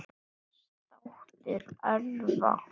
Brands þáttur örva